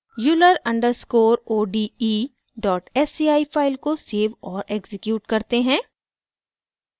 euler underscore o d e dot sci file को save और execute करते हैं